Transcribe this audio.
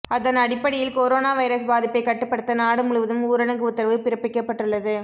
அதன் அடிப்படியில் corona virus பாதிப்பை கட்டுப்படுத்த நாடு முழுவதும் ஊரடங்கு உத்தரவு பிறப்பிக்கப்பட்டுள்ளது